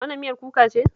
Wannan miyar kuka ce